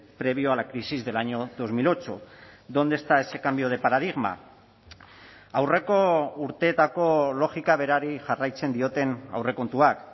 previo a la crisis del año dos mil ocho dónde está ese cambio de paradigma aurreko urteetako logika berari jarraitzen dioten aurrekontuak